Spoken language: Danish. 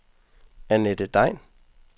Annette Degn